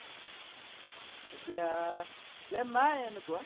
এতিয়া plan নাই এনেকুৱা